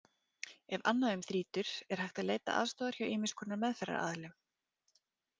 Ef annað um þrýtur er hægt að leita aðstoðar hjá ýmiss konar meðferðaraðilum.